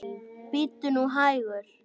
Bíddu nú hægur.